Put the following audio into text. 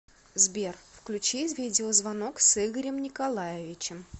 сбер включи видеозвонок с игорем николаевичем